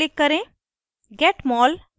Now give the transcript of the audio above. file menu पर click करें